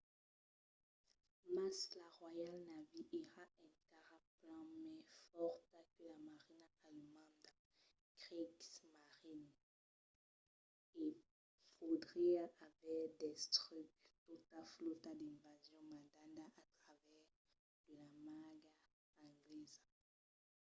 mas la royal navy èra encara plan mai fòrta que la marina alemanda kriegsmarine e podriá aver destruch tota flòta d'invasion mandada a travèrs de la marga anglesa